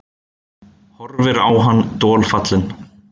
Horfir á hann dolfallin.